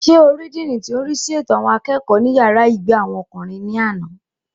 Sé o rí díìnì tí ò ń rísí ètò àwọn akẹ́kọ̀ọ́ ní yàrá ìgbé àwọn ọkùnrin ní àná?